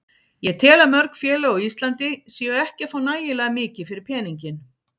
Ég tel að mörg félög á Íslandi séu ekki að fá nægilega mikið fyrir peninginn.